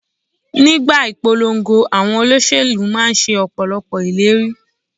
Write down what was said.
Nígbà ìpolongo, àwọn olóṣèlú máa ń ṣe Ọ̀pọ̀lọ́pọ̀ ìlérí.